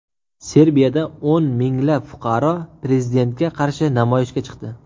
Serbiyada o‘n minglab fuqaro prezidentga qarshi namoyishga chiqdi.